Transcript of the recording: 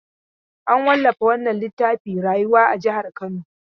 An wallafa wannan littafin Rayuwa a jihar Kano.